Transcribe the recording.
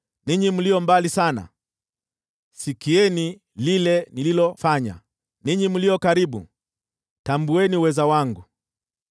Ninyi mlio mbali sana, sikieni lile nililofanya; ninyi mlio karibu, tambueni uweza wangu!